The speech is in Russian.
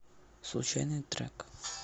случайный трек